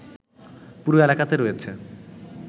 পুরো এলাকাতে রয়েছে